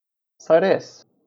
Saj res!